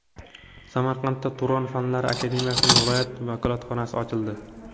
Samarqandda Turon Fanlar akademiyasining viloyat vakolatxonasi ochildi.